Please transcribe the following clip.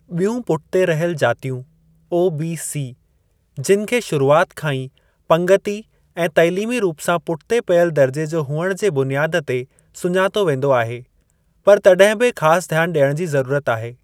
ॿियूं पुठिते रहियल जातियूं (ओबीसी) जिनि खे शुरूआति खां ई पंगिती ऐं तइलीमी रूप सां पुठिते पियल दर्जे जो हुअण जे बुनियादु ते सुञातो वेंदो आहे, पर तड॒हिं बि ख़ासि ध्यान डि॒यण जी ज़रूरत आहे।